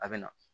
A bɛ na